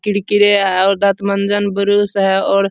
किरकिरे और दन्त मंजन ब्रुश है और --